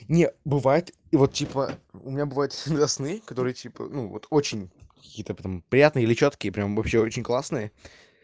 не бывает и вот типа у меня бывает иногда сны которые вот типа ну вот очень какие то там приятные или чёткие прямо вообще очень классные